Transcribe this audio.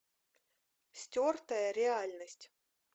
стертая реальность